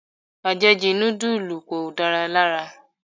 Ajeju nudulu kò da lára.